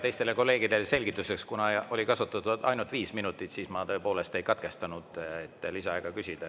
Teistele kolleegidele selgituseks: kuna kasutati ära ainult viis minutit, siis ma tõepoolest ei katkestanud, et lisaaega küsida.